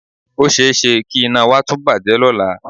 O ṣe é ṣe kí iná wa tún bàjẹ́ lọ́la